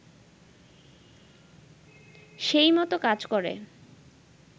সেই মতো কাজ করে